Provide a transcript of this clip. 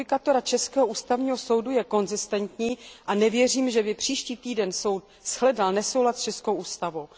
Judikatura českého Ústavního soudu je konzistentní a nevěřím, že by příští týden soud shledal nesoulad s českou ústavou.